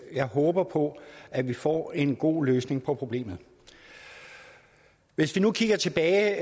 jeg håber på at vi får en god løsning på problemet hvis vi nu kigger tilbage